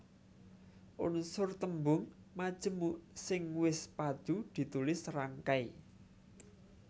Unsur tembung majemuk sing wis padhu ditulis serangkai